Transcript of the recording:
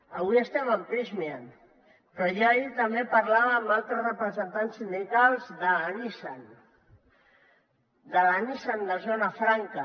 avui estem en prysmian però jo ahir també parlava amb altres representants sindicals de la nissan de la nissan de zona franca